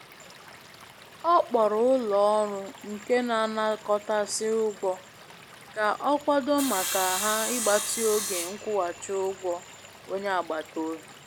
Ọ kpọrọ ụlọ ọrụ nke n'anakotasị ugwọ ka ọ kwado maka ha ịgbatị oge nkwughachị ụgwọ onye agbata obi.